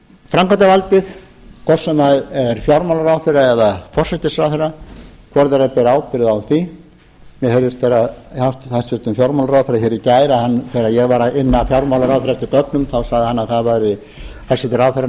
framkvæmdarvaldið hvort sem er fjármálaráðherra eða forsætisráðherra hvor þeirra ber ábyrgð á því mér heyrðist á hæstvirtan fjármálaráðherra hér í gær þegar ég var að inna fjármálaráðherra eftir gögnum þá sagði hæstvirtur ráðherrann